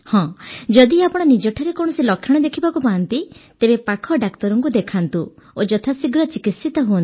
ଯଦି ଆପଣ ନିଜଠାରେ କୌଣସି ଲକ୍ଷଣ ଦେଖିବାକୁ ପାଆନ୍ତି ତେବେ ପାଖ ଡାକ୍ତରଙ୍କୁ ଦେଖାନ୍ତୁ ଓ ଯଥାଶୀଘ୍ର ଚିକିତ୍ସିତ ହୁଅନ୍ତୁ